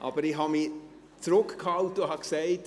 Aber ich habe mich zurückgehalten und mir gesagt: